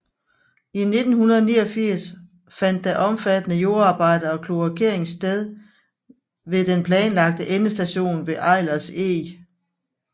I 1989 fandt der omfattende jordarbejder og kloakering sted ved den planlagte endestation ved Eilers Eg